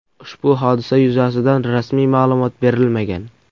Ushbu hodisa yuzasidan rasmiy ma’lumot berilmagan.